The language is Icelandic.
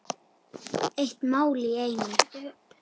Eitt mál í einu.